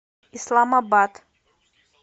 исламабад